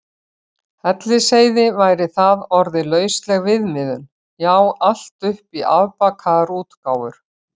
Hellisheiði væri það orðið lausleg viðmiðun, já allt upp í afbakaðar útgáfur.